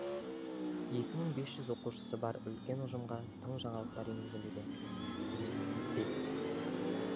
екі мың бес жүз оқушысы бар үлкен ұжымға тың жаңалықтар енгізуде